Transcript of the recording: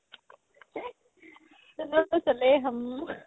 chalo চালে hum